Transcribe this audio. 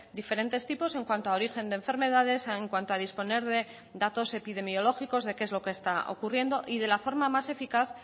diferentes tipos en cuanto a origen de enfermedades en cuanto a disponer de datos epidemiológicos de qué es lo que está ocurriendo y de la forma más eficaz